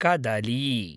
कदली